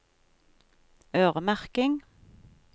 øremerking